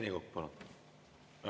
Rene Kokk, palun!